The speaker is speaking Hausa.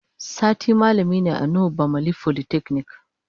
Sati malami ne a Nuhu bamalli folytechnic.